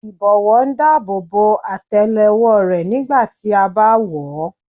Ìbọ́wọ́ ń dáàbò bo àtélé-ọwọ́ rẹ nígbà tí a bá wọ̀ ọ́.